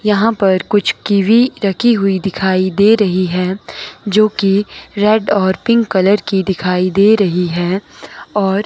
यहां पर कुछ कीवी रखी हुई दिखाई दे रही है जो की रेड और पिंक कलर की दिखाई दे रही है और--